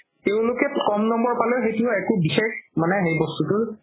তেওলোকে ক'ম নম্বৰ পালেও একো বিষেশ মানে হেৰি বস্তুতো